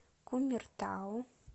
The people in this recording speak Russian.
кумертау